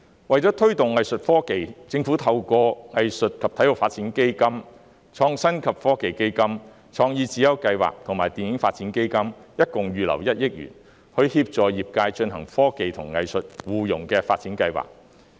為推動藝術科技，政府為藝術及體育發展基金、創新及科技基金、創意智優計劃和電影發展基金合共預留1億元，以協助業界進行科技及藝術互融的發展計劃。